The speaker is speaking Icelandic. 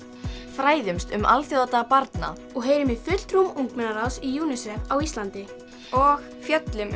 fræðumst um alþjóðadag barna og heyrum í fulltrúum ungmennaráðs Unicef á Íslandi og fjöllum